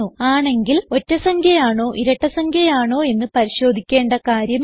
ആണെങ്കിൽ ഒറ്റ സംഖ്യ ആണോ ഇരട്ട സംഖ്യ ആണോ എന്ന് പരിശോധിക്കേണ്ട കാര്യമില്ല